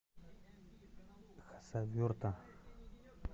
хасавюрта